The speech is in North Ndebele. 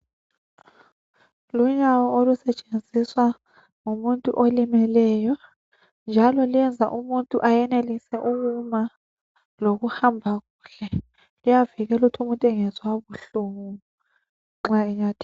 Lunyawo olusetshenziswa ngumuntu olimeleyo njalo luyenza umuntu ayenelisa ukuma lokuhamba kuhle luyavikela ukuthi umuntu engezwa buhlungu nxa enyathela.